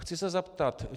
Chci se zeptat.